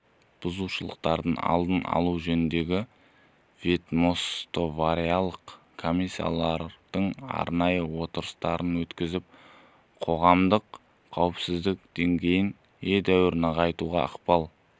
бұзушылықтардың алдын алу жөніндегі ведомствоаралық комиссиялардың арнайы отырыстарын өткізіп қоғамдық қауіпсіздік деңгейін едәуір нығайтуға ықпал